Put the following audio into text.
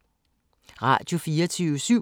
Radio24syv